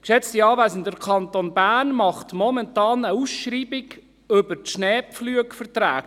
Geschätzte Anwesende, der Kanton Bern macht momentan eine Ausschreibung über die Schneepflugverträge.